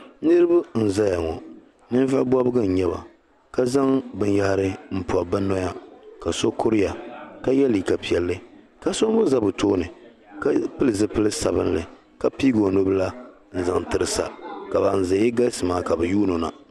Niriba n zaya ŋɔ ninvuɣi bɔbigu n yɛba ka zaŋ bini yahari n pɔbi bi noya ka so kuriya ka yiɛ liiga piɛlli ka so mi za bi tooni ka pili zupili sabinli ka piigi o nubila n zaŋ tiri sa ka bani zaya galisi maa ka bi yuuno na.